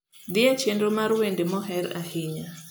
dhie chenro mar wende moher ahinya